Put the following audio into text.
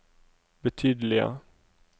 betydelige